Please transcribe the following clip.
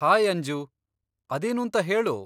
Hi Anju! ಅದೇನೂಂತ ಹೇಳು.